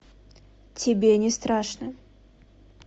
тебе не страшно